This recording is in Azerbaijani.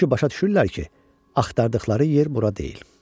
Çünki başa düşürlər ki, axtardıqları yer bura deyil.